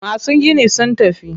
Masu ginin sun tafi.